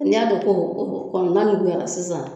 N'i y'a dɔn ko o kɔni manuguyara sisan